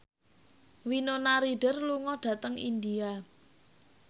Winona Ryder lunga dhateng India